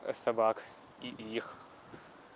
собак и их